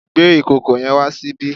Gbé ìkòkò yẹn wá ṣíbí!